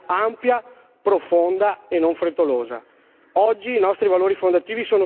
Dobbiamo saper rispondere con una strategia ampia, profonda e non frettolosa.